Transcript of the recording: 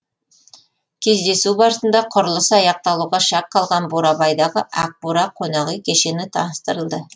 кездесу барысында құрылысы аяқталуға шақ қалған бурабайдағы ақ бура қонақүй кешені таныстырылды